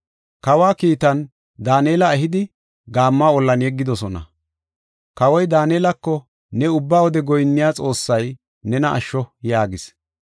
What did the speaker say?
Kawa kiitan, Daanela ehidi, gaammo ollan yeggidosona. Kawoy Daanelako, “Ne ubba wode goyinniya Xoossay nena asho” yaagis.